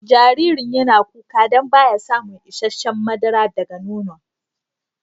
Jaririn yana kuka dan ba ya samun isheshe'n madara daga nono'n.